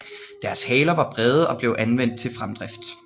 Deres haler var brede og blev anvendt til fremdrift